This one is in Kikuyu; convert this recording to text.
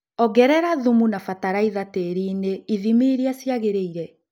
Ongerela thumu na batalaitha tĩrinĩ ithimi iria ciagĩrĩile